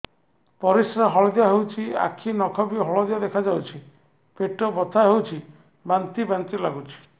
ପରିସ୍ରା ହଳଦିଆ ହେଉଛି ଆଖି ନଖ ବି ହଳଦିଆ ଦେଖାଯାଉଛି ପେଟ ବଥା ହେଉଛି ବାନ୍ତି ବାନ୍ତି ଲାଗୁଛି